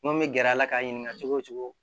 N ko min bɛ gɛrɛ a la k'a ɲininka cogo o cogo